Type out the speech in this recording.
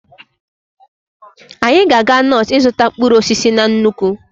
Anyị ga-aga Notu ịzụta mkpụrụ osisi na nnukwu.